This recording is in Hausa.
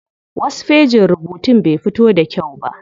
Wasu fejin rubutun bai fito da kyau ba.